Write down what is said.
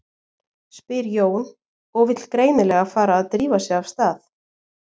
spyr Jón og vill greinilega fara að drífa sig af stað.